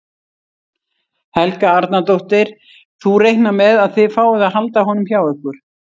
Helga Arnardóttir: Þú reiknar með að þið fáið að halda honum hjá ykkur?